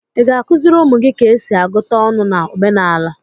Ị ga-akụziri ụmụ gị ka esi agụta ọnụ na omenala?